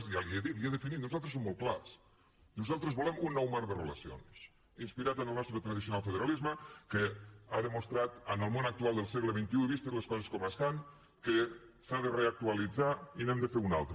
ja li ho he dit li ho he definit nosaltres som molt clars nosaltres volem un nou marc de relacions inspirat en el nostre tradicional federalisme que ha demostrat en el món actual del segle xxiestan que s’ha de reactualitzar i n’hem de fer un altre